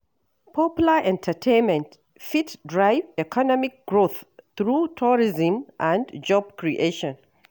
Popular entertainment fit drive economic growth through tourism and job creation.